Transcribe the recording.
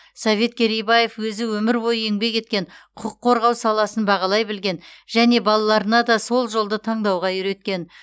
совет керейбаев өзі өмір бойы еңбек еткен құқық қорғау саласын бағалай білген және балаларына да сол жолды таңдауға үйреткен